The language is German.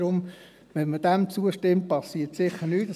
Deshalb: Wenn man dem zustimmt, dann passiert sicher nichts.